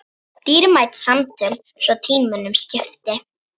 Dýrmæt samtöl svo tímunum skipti.